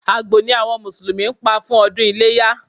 Àgbò ni àwọn Mùsùlùmí pa fún ọdún iléyá